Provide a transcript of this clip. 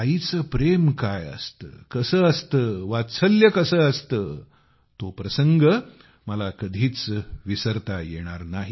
आईचे प्रेम काय असते कसे असते वात्सल्य कसे असते तो प्रसंग मला कधीच विसरता येणार नाही